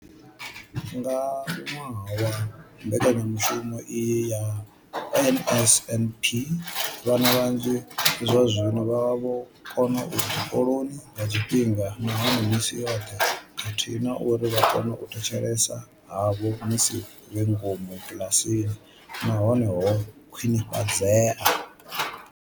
Nga ṅwaha wa mbekanyamushumo iyi ya NSNP, vhana vhanzhi zwazwino vha vho kona u ya tshikoloni nga tshifhinga nahone misi yoṱhe khathihi na uri vha kona u thetshelesa havho musi vhe ngomu kiḽasini na hone ho khwinifhadzea.